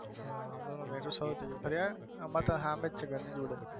હા અમારે તો સામેજ છે ઘર ની જોડે.